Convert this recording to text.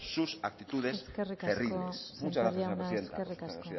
sus actitudes cerriles muchas gracias señora presidenta eskerrik asko sémper jauna eskerrik asko